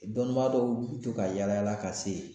Dɔnnibaa dɔw bɛ to ka yaala yaala ka se